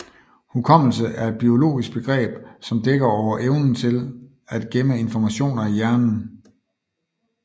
Hukommelse er et biologisk begreb som dækker over evnen til at gemme informationer i hjernen